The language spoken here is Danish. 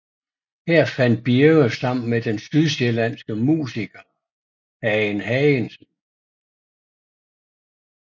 Her fandt Birge sammen med den sydsjællandske musiker Hagen Hagensen